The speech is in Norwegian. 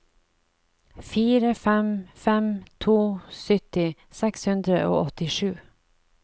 fire fem fem to sytti seks hundre og åttisju